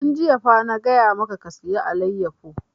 Tun jiya fa na gaya maka ka saya alayyafo!